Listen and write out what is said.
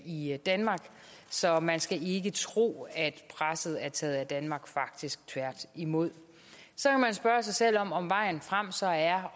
i i danmark så man skal ikke tro at presset er taget af danmark faktisk tværtimod så kan man spørge sig selv om vejen frem så er